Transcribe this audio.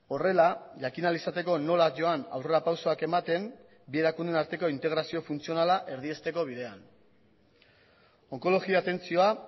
horrela jakin ahal izateko nola joan aurrera pausoak ematen bi erakundeen arteko integrazio funtzionala erdiesteko bidean onkologia atentzioa